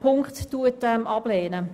Punkt abzulehnen.